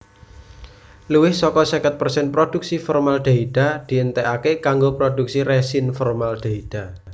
Luwih saka seket persen prodhuksi formaldehida dientèkaké kanggo prodhuksi resin formaldehida